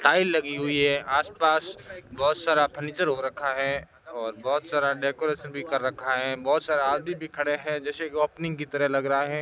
Tile लगी हुई है आसपास बहोत सारा फर्नीचर हो रखा है और बहोत सारा डेकोरेशन भी कर रखा है बहोत सारा आदमी भी खड़े हैं जैसे कि ओपनिंग की तरह लग रहा है।